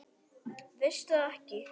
Veistu það ekki?